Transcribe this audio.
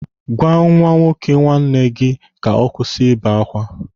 Gwa nwa nwoke nwanne gị ka ọ kwụsị ibe akwa.